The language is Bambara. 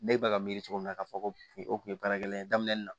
Ne bɛ ka miiri cogo min na k'a fɔ ko o kun ye baarakɛla ye daminɛ na